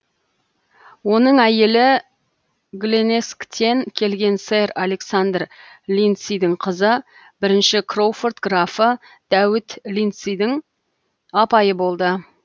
оның әйелі гленесктен келген сэр александр линдсидің қызы бірінші кроуфорд графы дәуіт линдсидің апайы болды